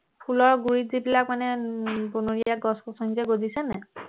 ফুলৰ গুৰিত যিবিলাক মানে উম বনৰীয়া গছ গছনি যে গজিছে নাই